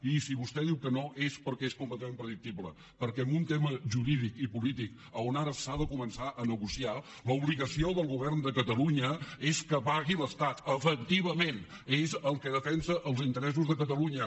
i si vostè diu que no és perquè és completament predictible perquè en un tema jurídic i polític on ara s’ha de començar a negociar l’obligació del govern de catalunya és que pagui l’estat efectivament és el que defensa els interessos de catalunya